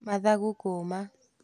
Mathagũ kũũma